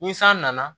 Ni san nana